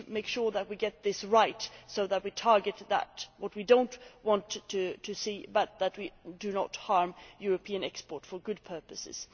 We need to make sure that we get this right so that we target what we do not want to see and do not harm European exports for good purposes.